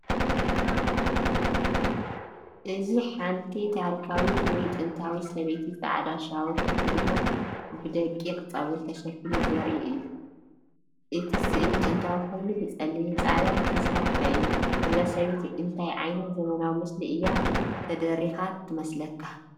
እዚ ሓንቲ ታሪኻዊት ወይ ጥንታዊት ሰበይቲ ጻዕዳ ሻውል ተኸዲና ብደቂቕ ጸጉሪ ተሸፊኑ ዘርኢ እዩ። እቲ ስእሊ ጥንታዊ ኮይኑ ብጸሊምን ጻዕዳን ዝተሰርሐ እዩ። እዛ ሰበይቲ እንታይ ዓይነት ዘመናዊ ምስሊ እያ ተደሪኻ ትመስለካ?